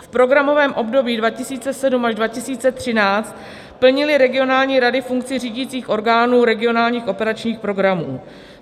V programovém období 2007 až 2013 plnily regionální rady funkci řídících orgánů regionálních operačních programů.